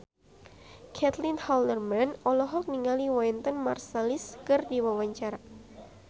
Caitlin Halderman olohok ningali Wynton Marsalis keur diwawancara